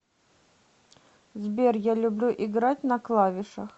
сбер я люблю играть на клавишах